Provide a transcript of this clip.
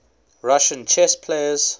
russian chess players